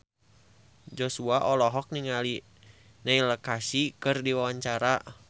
Joshua olohok ningali Neil Casey keur diwawancara